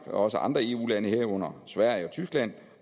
er også andre eu lande herunder sverige og tyskland